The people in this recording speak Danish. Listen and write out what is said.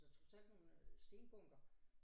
Så trods alt nogle stenbunker